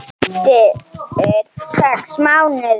Eftir sex mánuði.